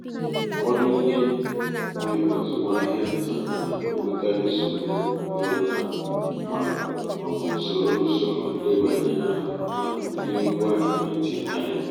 ụfọdụ ndị nwe azụmahịa nta na-enwekarị nsogbu ịghọta ma ọ bụ soro usoro ndebanye aha n’ụdị ngwa ekwentị intaneti